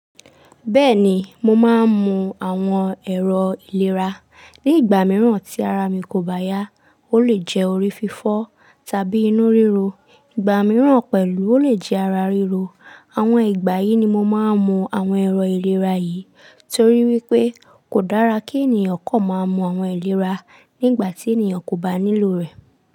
Bẹ́ẹ̀ni, mo máa ń mu àwọn ẹ̀rọ ìlera nígbà mìíràn tí ara mi kò bá yá. Ó lè jẹ́ orí fífọ́ tàbí inú ríro, ìgbà mìíràn pẹ̀lú ó lè jẹ́ ara ríro. Àwọn ìgbà yìí ni mo máa ń mu àwọn ẹ̀rọ ìlera yìí torí wípé kò dára kí ènìyàn kan máa mu àwọn ẹ̀rọ ìlera nígbà tí ènìyàn kò bá nílò rẹ̀.